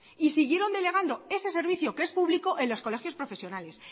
y siguieron delegando ese servicio que es público en los colegios profesionales